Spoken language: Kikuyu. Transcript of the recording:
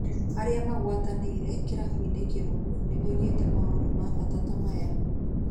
Arĩa magwatanĩire kĩbũrũri-inĩ kĩrũmu nĩ moigĩte maũndũ ma bata ta maya: